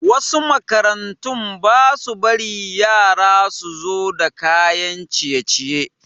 Wasu makarantun basa bari yara suzo da kayan ciye ciye